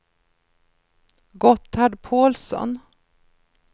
Gotthard Pålsson